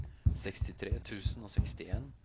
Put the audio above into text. sekstitre tusen og sekstien